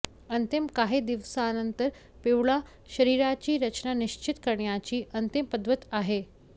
अंतिम काही दिवसांनंतर पिवळा शरीराची रचना निश्चित करण्याची अंतिम पद्धत आहे